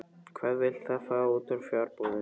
Hvað vill það fá út úr fjarbúðinni?